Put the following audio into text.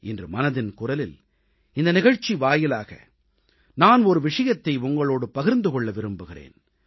இன்று மனதின் குரலில் இந்த நிகழ்ச்சி வாயிலாக நான் ஒரு விஷயத்தை உங்களோடு பகிர்ந்து கொள்ள விரும்புகிறேன்